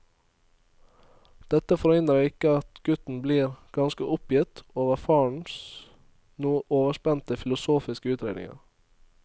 Dette forhindrer ikke at gutten iblant blir ganske oppgitt over farens noe overspente filosofiske utredninger.